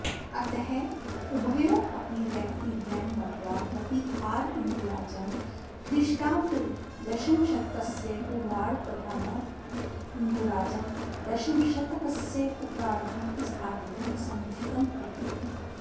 अतः उभयोरपि व्यक्तिद्वयं मत्वा प्रतीहारेन्दुराजं ख्रीष्टाब्ददशमशतकस्य पूर्वार्द्ध तथा भद्देन्दुराजं दशमशतकस्योत्तरार्द्ध स्थापितुम् समुचितं प्रतीयते